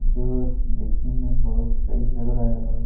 जो देखने में बहुत सही लग रहा है और --